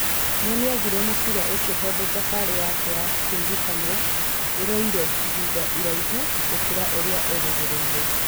No nĩagire mũbira ũcio tondũ thabarĩ yake ya kũririkanwo ĩroire ihinda iraihu gũkĩra ũrĩa erĩgĩrĩire.